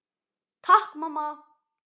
Takk mamma!